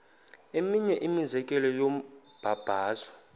eminye imizekelo yombabazo